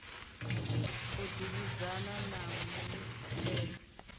u davhidzana na mu isedzi